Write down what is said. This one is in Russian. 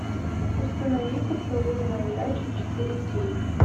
установи поцелуй на удачу четыре кей